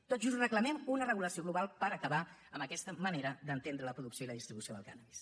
tot just reclamem una regulació global per acabar amb aquesta manera d’entendre la producció i la distribució del cànnabis